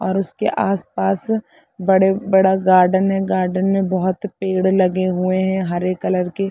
और उसके आस- पास बड़े बड़ा गार्डन है गार्डन में बहोत पेड़ लगे हुए है हरे कलर के--